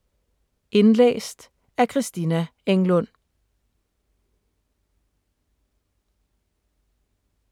Indlæst af: